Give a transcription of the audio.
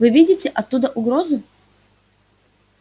вы видите оттуда угрозу